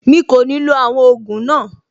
Mi kò ní lo àwọn ògùn náà.